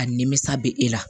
A nimisa bɛ e la